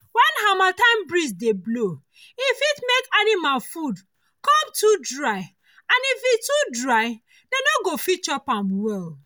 when harmattan breeze dey blow e fit make animal food come too dry and if e too dry dem no go fit chop am well